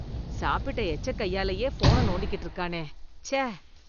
சாப்பிட்ட எச்ச கையாலையே ஃபோன நோண்டிக்கிட்டு இருக்கானே ச்ச.